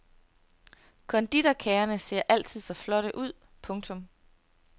Konditorkagerne ser altid så flotte ud. punktum